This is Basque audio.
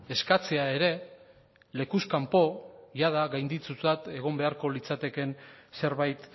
eskatzea ere lekuz kanpo iada gaindituta egon beharko litzatekeen zerbait